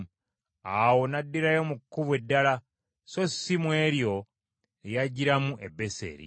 Awo n’addirayo mu kkubo eddala, so si mu eryo lye yajjiramu e Beseri.